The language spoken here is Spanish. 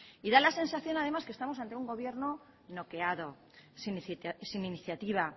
y da la sensación además que estamos ante un gobierno bloqueado sin iniciativa